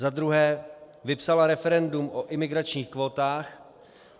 za druhé vypsala referendum o imigračních kvótách;